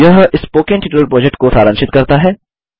यह spoken tutorial project को सारांशित करता है